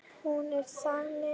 Hún er þannig